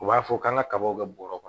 U b'a fɔ k'an ka kabaw kɛ bɔrɛ kɔnɔ